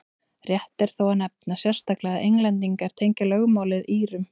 rétt er þó að nefna sérstaklega að englendingar tengja lögmálið írum